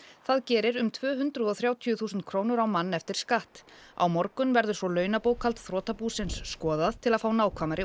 það gerir um tvö hundruð og þrjátíu þúsund krónur á mann eftir skatt á morgun verður launabókhald þrotabúsins skoðað til að fá nákvæmari